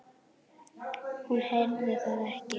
Hún heyrði það ekki.